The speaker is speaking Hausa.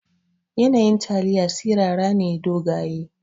Yanayin taliya sirara ne dogaye.